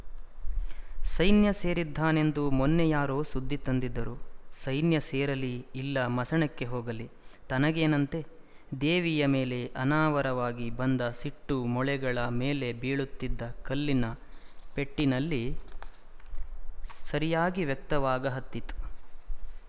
ಸೈನ್ಯ ಸೇರಿದ್ದಾನೆಂದು ಮೊನ್ನೆ ಯಾರೋ ಸುದ್ದಿ ತಂದಿದ್ದರು ಸೈನ್ಯ ಸೇರಲಿ ಇಲ್ಲ ಮಸಣಕ್ಕೆ ಹೋಗಲಿ ತನಗೇನಂತೆ ದೇವಿಯ ಮೇಲೆ ಅನಾವರವಾಗಿ ಬಂದ ಸಿಟ್ಟು ಮೊಳೆಗಳ ಮೇಲೆ ಬೀಳುತಿದ್ದ ಕಲ್ಲಿನ ಪೆಟ್ಟಿನಲ್ಲಿ ಸರಿಯಾಗಿ ವ್ಯಕ್ತವಾಗಹತ್ತಿತ್ತು